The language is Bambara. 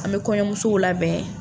An bɛ kɔɲɔmusow labɛn.